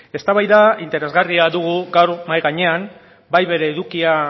eztabaida interesgarria dugu gaur mahai gainean bai bere edukia